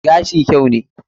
Gashi kyau ne.